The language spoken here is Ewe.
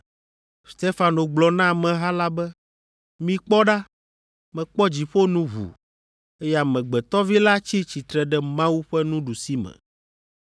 Stefano gblɔ na ameha la be, “Mikpɔ ɖa, mekpɔ dziƒo nu ʋu, eye Amegbetɔ Vi la tsi tsitre ɖe Mawu ƒe nuɖusime.”